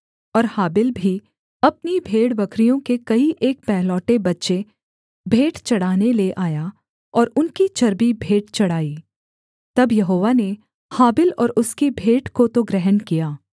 और हाबिल भी अपनी भेड़बकरियों के कई एक पहलौठे बच्चे भेंट चढ़ाने ले आया और उनकी चर्बी भेंट चढ़ाई तब यहोवा ने हाबिल और उसकी भेंट को तो ग्रहण किया